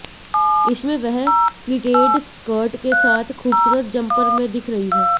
इसमें वह pleated skirt के साथ खूबसूरत जंपर में दिख रही हैं